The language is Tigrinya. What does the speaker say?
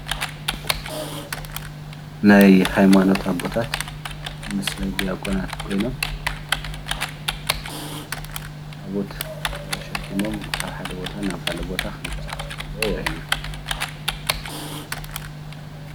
ናይ ሃይማኖት ኣቦታታት ምስ ድያቆናት ኾይኖም ታቦት ተሸኪሞም ካብ ሓደ ቦታ ናብ ኻሊእ ቦታ ኽንቀሳቀሱ ከለው የርእየና።